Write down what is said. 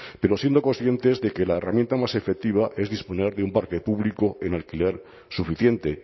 pero siendo conscientes de que la herramienta más efectiva es disponer de un parque público en alquiler suficiente